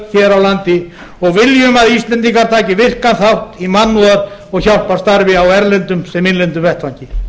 á landi og viljum að íslendingar taki virkan þátt í mannúðar og hjálparstarfi á erlendum sem innlendum vettvangi